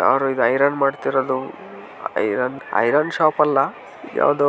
ಯಾರು ಇಲ್ಲಿ ಐರನ್ ಮಾಡ್ತಿರೋದು ಐರನ್ ಶಾಪ್ ಅಲ್ಲ ಯಾವುದೋ